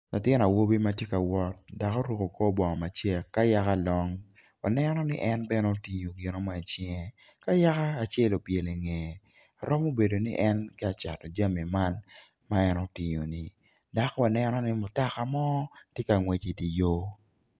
Latin awobi ma tye ka wot ma oruko kor bongo macek ka yaka long waneno ni en bene otingo gino mo i cinge ka yaka acel obyelo i ngeye romo bedo ni en tye ka cato jami man ma en otingo ni dok waneno ni mutoka mo tye ka ngwec i dye yo.